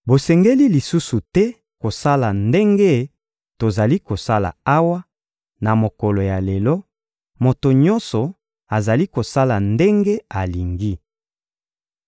Bosengeli lisusu te kosala ndenge tozali kosala awa, na mokolo ya lelo: moto nyonso azali kosala ndenge alingi.